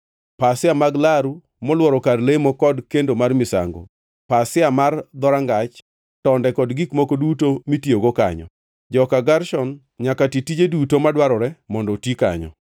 pasia mag laru molworo kar lemo kod kendo mar misango, pasia mar dhorangach, tonde kod gik moko duto mitiyogo kanyo. Joka Gershon nyaka ti tije duto madwarore mondo oti kanyo.